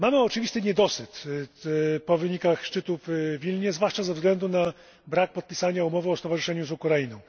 Mamy oczywisty niedosyt po wynikach szczytu w Wilnie, zwłaszcza ze względu na brak podpisania umowy o stowarzyszeniu z Ukrainą.